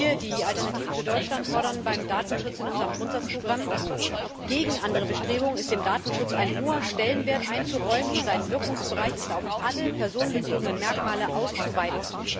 Wir, die Alternative für Deutschland, fordern beim Datenschutz in unserem Grundsatzprogramm Gegen andere Bestrebungen ist dem Datenschutz ein hoher Stellenwert einzuräumen, und sein Wirkungsbereich ist auf alle personenbezogenen Merkmale auszuweiten.